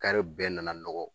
bɛɛ nana nɔgɔ